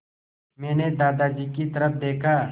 मैंने दादाजी की तरफ़ देखा